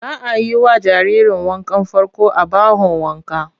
Za a yi wa jaririrn wankan farko a bahon wanka.